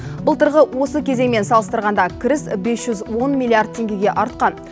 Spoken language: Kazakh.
былтырғы осы кезеңмен салыстырғанда кіріс бес жүз он миллиард теңгеге артқан